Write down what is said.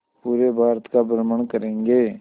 पूरे भारत का भ्रमण करेंगे